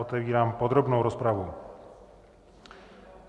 Otevírám podrobnou rozpravu.